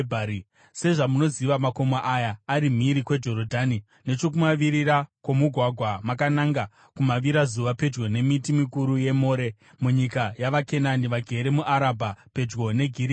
Sezvamunoziva, makomo aya ari mhiri kweJorodhani, nechokumavirira kwomugwagwa, makananga kumavirazuva, pedyo nemiti mikuru yeMore, munyika yavaKenani vagere muArabha pedyo neGirigari.